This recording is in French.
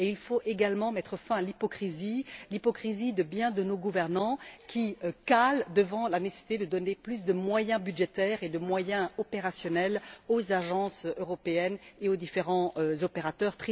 Et il faut également mettre fin à l'hypocrisie, l'hypocrisie de beaucoup de nos gouvernants qui calent devant la nécessité de donner plus de moyens budgétaires et plus de moyens opérationnels aux agences européennes et aux différents opérateurs.